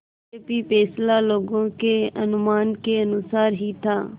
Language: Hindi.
यद्यपि फैसला लोगों के अनुमान के अनुसार ही था